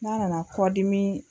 N'a nana kɔdimii